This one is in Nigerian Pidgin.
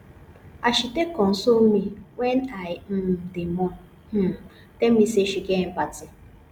as she take console me wen i um dey mourn um tell me sey she get empathy